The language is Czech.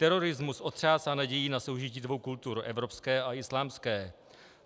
Terorismus otřásá nadějí na soužití dvou kultur - evropské a islámské.